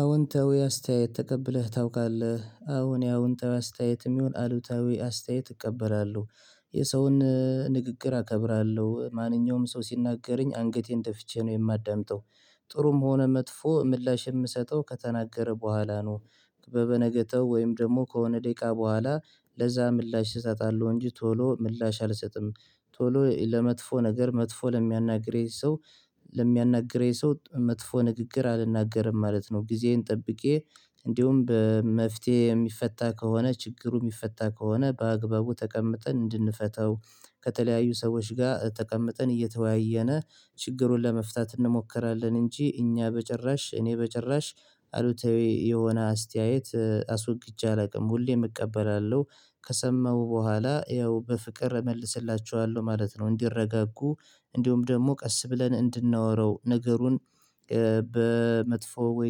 አዎንታዊ አስተያየት ተቀብለህ ታውቃለህ አወ አዎንታዊ አስተያየትም ይሁን አሉታዊ አስተያየት እቀበላለሁ። የሰውን ንግግር አከብራለሁ ማንኛውም ሰው ሲናገረኝ አንገቴን ጀፍቼ ነው የማዳምጠው ጥሩም ሆነ መጥፎ ምላሽ የምሰጠው ከተናገረ በኋላ ነው። በበነገተው ወይም ደግሞ ከሆነ ደቂቃ በኋላ ለዛ ምላሽ እሰጣለሁ እንጂ ቶሎ ምላሽ አልሰጥም። ቶሎ ለመጥፎ ነገር መጥፎ ለሚያናግረኝ ሰው ለሚያናግረኝ ሰው መጥፎ ንግግር አልናገርም ማለት ነው። ጊዜዬን ጠብቄ እንዲሁም በመፍትሄ የሚፈታ ከሆነ ችግሩ የሚፈታ ከሆነ በአግባቡ ተቀምጠን እንድንፈታው። ከተለያዩ ሰዎች ጋር ተቀምጠን እየተወያየነ ችግሩን ለመፍታት እንሞክራለን። እንጂ እኛ በጭራሽ እኔ በጭራሽ አሉታዊ የሆነ አስተያየት አስወግጄ አላውቅም ሁሌም እቀበላለሁ። ከሰማሁ በኋላ ያው በፍቅር እመልስላችቸዋለሁ ማለት ነው እንዲረጋጉ። እንዲሁውም ደግሞ ቀስ ብለን እንድናወራው ነገሩን በመጥፎ ወይ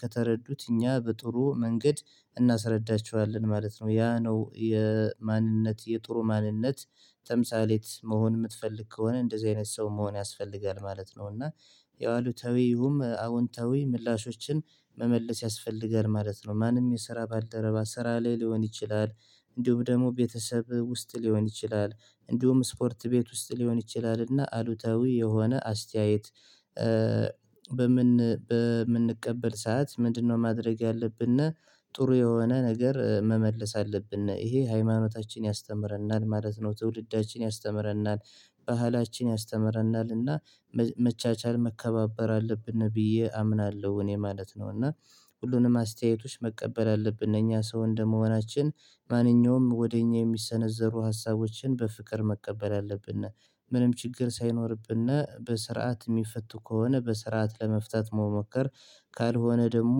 ከተረዱት እኛ በጥሩ መንገድ እናስረዳቸዋለን ማለት ነው። ያ ነው የማንነት የጥሩ ማንነት ተምሳሌት መሆን የምትፈልግ ከሆነ እንደዚህ አይነት ሰው መሆን ያስፈልጋል ማለት ነው። እና ያው አሉታዊም ይሁን አዎንታዊ ምላሾችን መመለስ ያስፈልጋል ማለት ነው። ማንም የስራ ባልደረባ ስራ ላይ ሊሆን ይችላል። እንዲሁም ደግሞ ቤተሰብ ውስጥ ሊሆን ይችላል። እንዲሁም ስፖርት ቤት ውስጥ ሊሆን ይችላልና አሉታዊ የሆነ አስተያየት። በምን በምንቀበል ሰዓት ምንድነው? ማድረግ ያለብነ ጥሩ የሆነ ነገር መመለስ አለብነ ይሄ ሃይማኖታችን ያስተምረናል ማለት ነው። ትውልዳችን ያስተምረናል ባህላችን ያስተምረናል እና መቻቻል መከባበር አለብን ብዬ አምናለሁ እኔ ማለት ነው። እና ሁሉንም አስተያየቶች መቀበል አለብን እኛ ሰው እንደመሆናችን ማንኛውም ወደኛ የሚሰነዘሩ ሀሳቦችን በፍቅር መቀበል አለብነ። ምንም ችግር ሳይኖርብን በስርዓት የሚፈቱ ከሆነ በስርዓት ለመፍታት መሞከር። ካልሆነ ደግሞ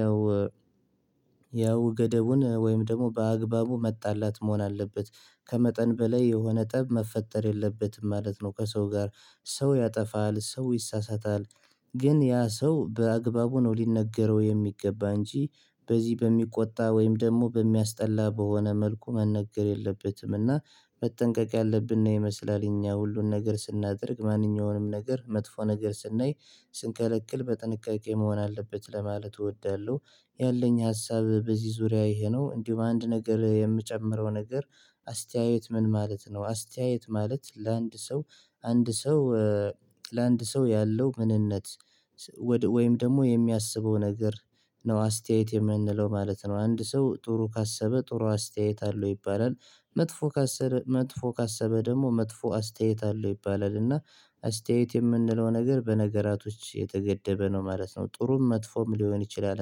ያው ያው ገደቡን ወይም ደግሞ በአግባቡ መጣላት መሆን አለበት። ከመጠን በላይ የሆነ ጠብ መፈጠር የለበትም ማለት ነው። ከሰው ጋር ሰው ያጠፋል ሰው ይሳሳታል። ግን ያ ሰው በአግባቡ ነው ሊነገረው የሚገባ እንጂ። በዚህ በሚቆጣ ወይም ደግሞ በሚያስጠላ በሆነ መልኩ መነገር የለበትም። እና መጠንቀቅ ያለብን ይመስላል እኛ ሁሉን ነገር ስናደርግ ማንኛውንም ነገር መጥፎ ነገር ስናይ ስንከለክል በጥንቃቄ መሆን አለበት ለማለት እወዳለሁ። ያለኝ ሀሳብ በዚህ ዙሪያ ይሄ ነው እንዲሁ በአንድ ነገር የምጨምረው ነገር አስተያየት ምን ማለት ነው? አስተያየት ማለት ለአንድ ሰው አንድ ሰው ለአንድ ሰው ያለው ምንነት ወይም ደግሞ የሚያስበው ነገር ነው አስተያየት የምንለው ማለት ነው። አንድ ሰው ጥሩ ካሰበ ጥሩ አስተያየት አለው ይባላል። መጥፎ ካሰበ መጥፎ ካሰበ ደግሞ መጥፎ አስተያየት አለው ይባላል። እና አስተያየት የምንለው ነገር በነገራቶች የተገደበ ነው ማለት ነው ጥሩም መጥፎም ሊሆን ይችላል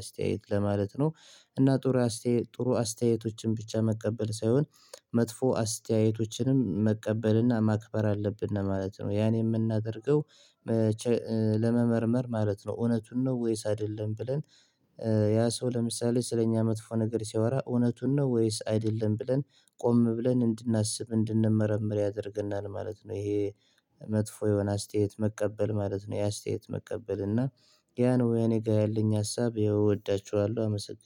አስተያየት ለማለት ነው። እና ጥሩ አስተያየት ጥሩ አስተያየቶችን ብቻ መቀበል ሳይሆን መጥፎ አስተያየቶችንም መቀበልና ማክበር አለብን ማለት ነው። ያን የምናደርገው ለመመርመር ማለት ነው። እውነቱን ነው ወይስ አይደለም ብለን? ያ ሰው ለምሳሌ ስለኛ መጥፎ ነገር ሲያወራ እውነቱን ነው ወይስ አይደለም ብለን? ቆም ብለን እንድናስብ እንድንመረምር ያደርገናል ማለት ነው። ይሄ መጥፎ የሆነ አስተያየት መቀበል ማለት ነው። ያ አስተያየት መቀበል እና ያ ነው እኔ ጋር ያለኝ ሀሳብ እወዳችኋለሁ። አመሰግናለሁ